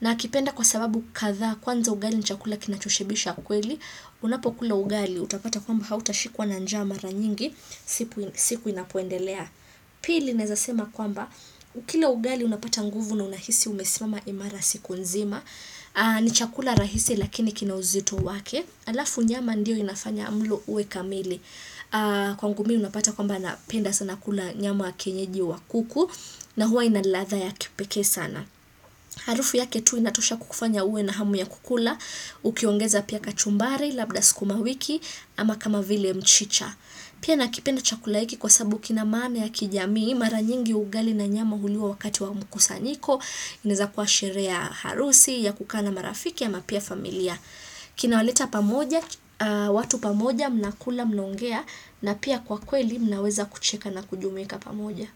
Nakipenda kwa sababu kadhaa, kwanza ugali na chakula kinachoshibisha kweli, unapokula ugali utapata kwamba hautashikwa na njaa mara nyingi, siku inapoendelea. Pili naezasema kwamba, ukila ugali unapata nguvu na unahisi umesimama imara siku nzima, ni chakula rahisi lakini kina uzito wake, halafu nyama ndiyo inafanya mlo uwe kamili, kwangu mimi unapata kwamba napenda sana kula nyama ya kienyeji wa kuku na huwa ina ladha ya kipekee sana. Harufu yake tu inatosha kukufanya uwe na hamu ya kukula ukiongeza pia kachumbari, labda sukuma wiki ama kama vile mchicha. Pia nakipenda chakula hiki kwa sababu kina maana ya kijamii. Mara nyingi ugali na nyama huliwa wakati wa mkusanyiko. Inaeza kuwa sherehe ya harusi ya kukaa na marafiki ama pia familia. Kina waleta pamoja, watu pamoja, mnakula mnongea. Na pia kwa kweli mnaweza kucheka na kujumuika pamoja.